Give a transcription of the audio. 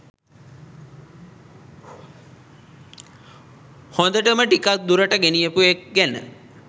හොඳටම ටිකක් දුරට ගෙනියපු එක් ගැන.